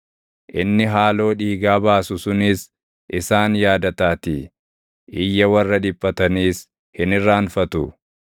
Inni haaloo dhiigaa baasu sunis isaan yaadataatii; iyya warra dhiphataniis hin irraanfatu.